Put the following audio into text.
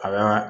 A ka